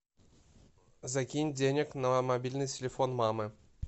закинь денег на мобильный телефон мамы